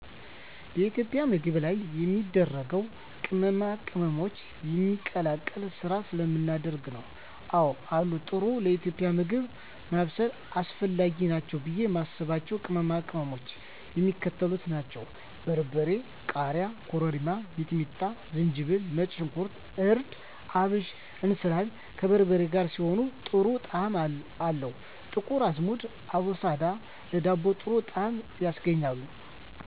የኢትዮጵያ ምግብ ልዩ የሚያደርገው ቅመማ ቅመሞችን የመቀላቀል ስራ ስለምናደርግ ነው። *አወ አሉ፦ ጥሩ ለኢትዮጵያዊ ምግብ ማብሰል አስፈላጊ ናቸው ብዬ የማስባቸው ቅመሞች የሚከተሉት ናቸው: * በርበሬ *ቃሪያ * ኮረሪማ * ሚጥሚጣ * ዝንጅብል * ነጭ ሽንኩርት * እርድ * አብሽ *እንስላል፦ ከበርበሬ ጋር ሲሆን ጥሩ ጣዕም አለው *ጥቁር አዝሙድ(አቦስዳ)ለዳቦ ጥሩ ጣዕም ያስገኛል።